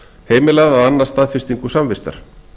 heimilað að annast staðfestingu samvistar